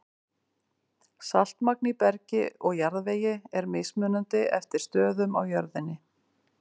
Saltmagn í bergi og jarðvegi er mismunandi eftir stöðum á jörðinni.